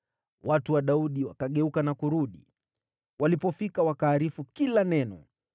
Watu wa Daudi wakageuka na kurudi. Walipofika, wakaarifu kila neno.